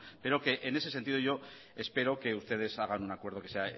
pero en ese sentido espero que ustedes hagan un acuerdo que sea